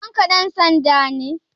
Babanka ɗan sanda ne?